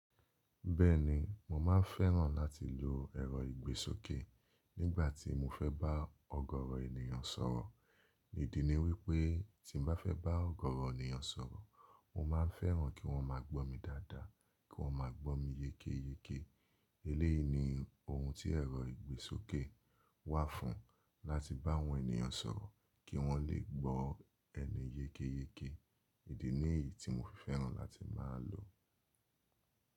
Bẹ́ẹ̀ni, mo má ń fẹ́ràn láti lo ẹ̀rọ-ìgbésókè nígbà tí mo fẹ́ bá ọ̀gọ̀ọ̀rọ̀ ènìyàn sọ̀rọ̀. Ìdí ni wí pé tí mo bá fẹ́ bá ọ̀gọ̀ọ̀rọ̀ ènìyàn sọ̀rọ̀, mo máa fẹ́ràn kí wọ́n máa gbọ́ mi dáadáa, kí wọ́n máa gbọ́ mi yékéyéké. Eléyìí ni ohun tí ẹ̀rọ-ìgbésókè wà fún, láti bá àwọn ènìyàn sọ̀rọ̀, kí wọ́n lè gbọ́ ẹni yékéyéké. Ìdí ni èyí tí mo fi fẹ́ràn láti máa lò ó.